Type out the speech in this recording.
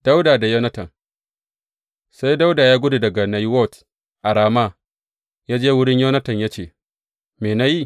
Dawuda da Yonatan Sai Dawuda ya gudu daga Nayiwot a Rama ya je wurin Yonatan ya ce, Me na yi?